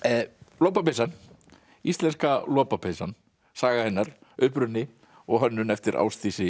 lopapeysan Íslenska lopapeysan saga hennar uppruni og hönnun eftir Ásdísi